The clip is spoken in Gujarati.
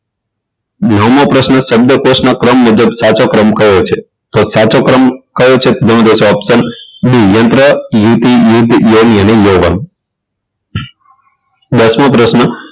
નવમો પ્રશ્ન શબ્દકોશના ક્રમ મુજબ સાચો ક્રમ કયો છે તો સાચો ક્રમ કયો છે option d યંત્ર યુવતી યુવતી યરી અને યૌવન દસમો પ્રશ્ન